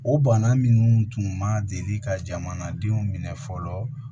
O bana minnu tun ma deli ka jamanadenw minɛ fɔlɔ